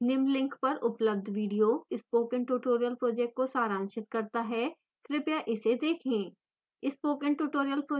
निम्न link पर उपलब्ध video spoken tutorial project को सारांशित करता है कृपया इसे देखें